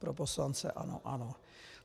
Pro poslance ANO ano.